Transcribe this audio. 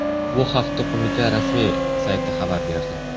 Bu haqda Qo‘mita rasmiy sayti xabar berdi .